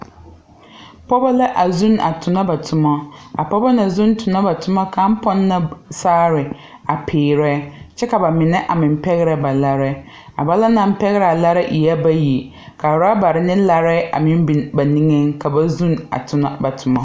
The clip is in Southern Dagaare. Pɔɔbɔ la a zuune a tonɔ ba tomo a pɔɔbɔ na zuune tonɔ ba toma kaŋ pɔn la saare a piirɛ kyɛ ka ba mine a meŋ pɛgrɛ ba larrɛɛ ba naŋ naŋ pɛgraa larrɛɛ ɛɛ bayi ka rɔbarre ne larrɛɛ a meŋ bine ba niŋeŋ ka ba zuune a tonɔ ba tomo.